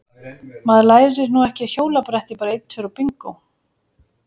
Maður lærir nú ekki á hjólabretti bara einn tveir og bingó!